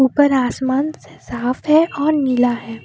ऊपर आसमान साफ है और नीला है।